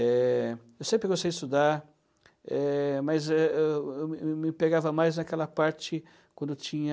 Eh, eu sempre gostei de estudar, eh, mas eh eu eu me me pegava mais naquela parte quando tinha...